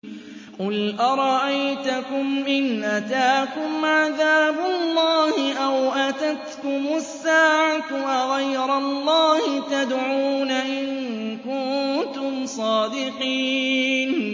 قُلْ أَرَأَيْتَكُمْ إِنْ أَتَاكُمْ عَذَابُ اللَّهِ أَوْ أَتَتْكُمُ السَّاعَةُ أَغَيْرَ اللَّهِ تَدْعُونَ إِن كُنتُمْ صَادِقِينَ